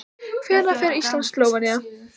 Hvernig fer Ísland- Slóvenía?